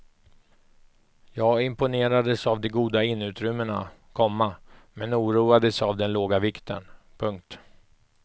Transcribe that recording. Jag imponerades av de goda innerutrymmena, komma men oroades av den låga vikten. punkt